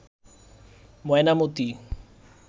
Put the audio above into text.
Mainamati